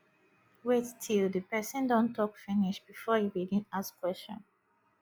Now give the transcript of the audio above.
wait til di pesin don tok finish bifor you begin ask question